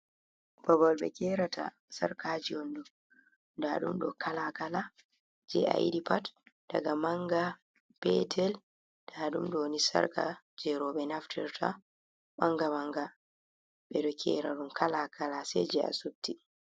Babal ɓe gerata sarkaji on ɗo. Nda ɗum kala-kala je ayiɗi pat daga manga, petel nda ɗum ɗo ni. Sarka je roɓe naftirta manga-manga ɓeɗo gera ɗum kala-kala sai je asupti.